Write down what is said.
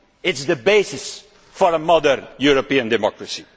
it is the basis for a modern European democracy.